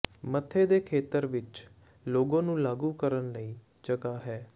ਮੱਥੇ ਦੇ ਖੇਤਰ ਵਿੱਚ ਲੋਗੋ ਨੂੰ ਲਾਗੂ ਕਰਨ ਲਈ ਜਗ੍ਹਾ ਹੈ